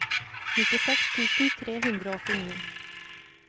nittiseks tusen tre hundre og åttini